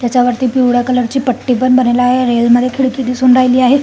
त्याच्या वरती पिवळ्या कलर ची पट्टी पण बनलेली आहे रेल मध्ये खिडकी दिसून राहिली आहे.